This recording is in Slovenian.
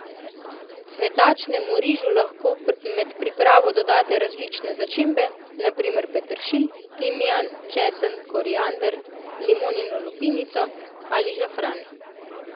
Cvetačnemu rižu lahko med pripravo dodate različne začimbe, na primer peteršilj, timijan, česen, koriander, limonino lupinico ali žafran.